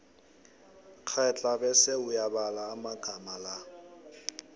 kghedla bese uyabala amagama la